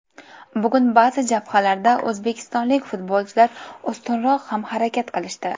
Bugun baʼzi jabhalarda o‘zbekistonlik futbolchilar ustunroq ham harakat qilishdi.